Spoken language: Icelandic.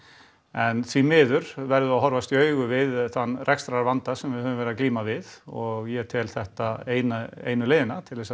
en því miður verðum við að horfast í augu við þann rekstrarvanda sem við höfum verið að glíma við og ég tel þetta einu einu leiðina til þess